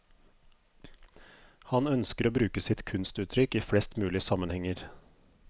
Han ønsker å bruke sitt kunstuttrykk i flest mulig sammenhenger.